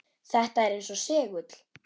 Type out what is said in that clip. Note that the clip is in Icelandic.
Þetta er eins og segull.